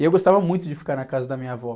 E eu gostava muito de ficar na casa da minha avó.